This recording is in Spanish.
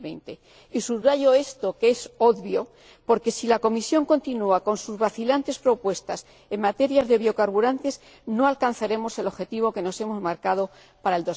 2020. Y subrayo esto que es obvio porque, si la Comisión continúa con sus vacilantes propuestas en materia de biocarburantes, no alcanzaremos el objetivo que nos hemos marcado para